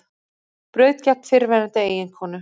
Braut gegn fyrrverandi eiginkonu